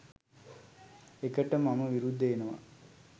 එකට මම විරුද්ද වෙනවා